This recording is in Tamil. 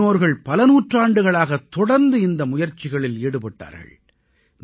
நமது முன்னோர்கள் பல நூற்றாண்டுகளாகத் தொடர்ந்து இந்த முயற்சிகளில் ஈடுபட்டார்கள்